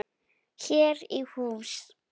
Hér í hús